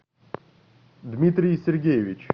дмитрий сергеевич